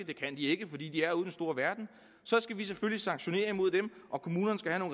det kan de ikke fordi de er ude i den store verden så skal vi selvfølgelig sanktionere mod dem og kommunerne skal have